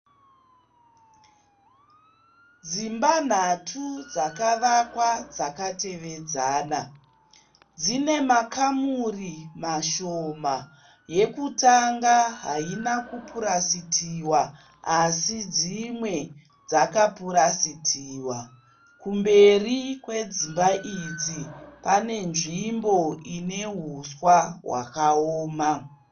Dzimba nhatu dzakavakwa dzakatevedzana. Dzine makamuri mashoma. Yekutanga haina kupurasitiwa asi dzimwe dzakapurasitiwa. Kumberi kwedzimba idzi pane nzvimbo ine huswa hwakaoma.